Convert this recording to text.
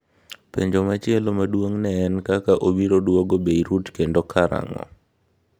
Penjo machielo maduong' ne en kaka obiro duogo Beirut kendo karang'o.